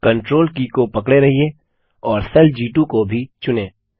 CTRL की को पकड़े रहिये और सेल जी2 को भी चुनें